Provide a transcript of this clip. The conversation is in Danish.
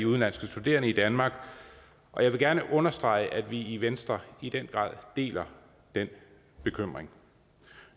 udenlandske studerende i danmark og jeg vil gerne understrege at vi i venstre i den grad deler den bekymring